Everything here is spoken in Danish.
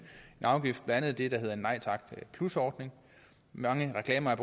afgift blandt andet med det der hedder en nej tak ordning mange reklamer er